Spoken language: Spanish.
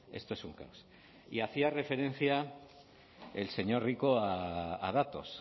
esto es un caos y hacía referencia el señor rico a datos